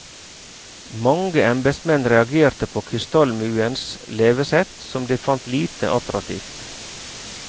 Mange embetsmenn reagerte på kystallmuens levesett, som de fant lite attraktivt.